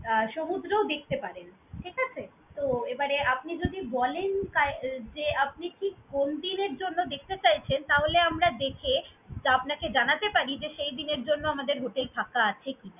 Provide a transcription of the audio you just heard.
আহ সমুদ্রও দেখতে পারেন ঠিক আছে? তো এবারে আপনি যদি বলেন তা এই যে আপনি ঠিক কোন দিনের জন্য দেখতে চাইছেন, তাহলে আমরা দেখে আপনাকে জানাতে পারি যে সেইদিনের জন্য আমাদের hotel ফাঁকা আছে কি।